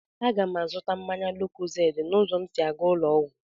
A ga m azụta mmanya lókózéédị n'ụzọ m sị à ga ụlọ ọgwụ